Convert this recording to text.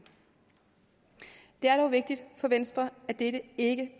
det er dog vigtigt for venstre at dette ikke